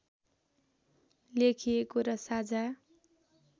लेखिएको र साझा